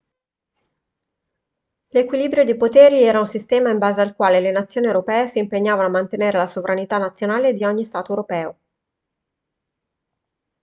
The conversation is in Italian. l'equilibrio dei poteri era un sistema in base al quale le nazioni europee si impegnavano a mantenere la sovranità nazionale di ogni stato europeo